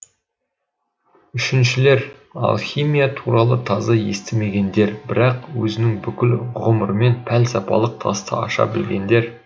үшіншілер алхимия туралы таза естімегендер бірақ өзінің бүкіл ғұмырымен пәлсапалық тасты аша білгендер